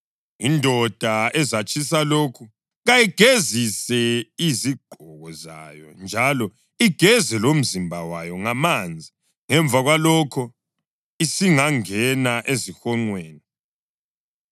Indoda ezatshisa lokhu kayigezise izigqoko zayo njalo igeze lomzimba wayo ngamanzi; ngemva kwalokho isingangena ezihonqweni.